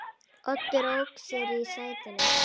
Oddur ók sér í sætinu.